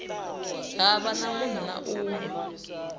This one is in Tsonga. hava munhu na un we